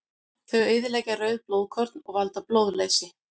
Þau eyðileggja rauð blóðkorn og valda blóðleysi.